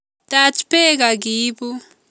Taj beek okiibu